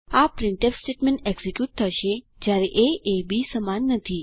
આ printf statement execute થશે જયારે એ એ બી સમાન નથી